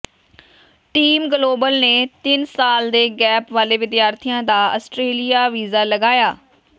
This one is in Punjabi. ਟੀਮ ਗਲੋਬਲ ਨੇ ਤਿੰਨ ਸਾਲ ਦੇ ਗੈਪ ਵਾਲੇ ਵਿਦਿਆਰਥੀ ਦਾ ਆਸਟ੍ਰੇਲੀਆ ਵੀਜ਼ਾ ਲਗਾਇਆ